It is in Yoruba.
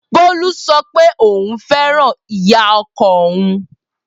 Bolu sọ pé òun fẹ́ràn ìyá ọkọ òun.